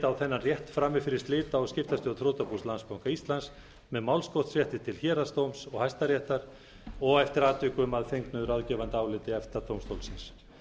þennan rétt frammi fyrir slita og skiptastjórn þrotabús landsbanka íslands með málskotsrétti til héraðsdóms og hæstaréttar og eftir atvikum að fengnu ráðgefandi áliti efta dómstólsins